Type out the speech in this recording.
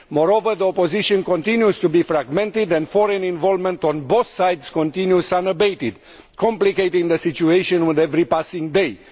Moreover, the opposition continues to be fragmented, and foreign involvement on both sides continues unabated, complicating the situation with every passing day.